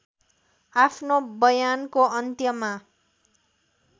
आफ्नो बयानको अन्त्यमा